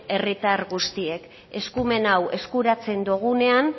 herritar guztiek eskumen hau eskuratzen dugunean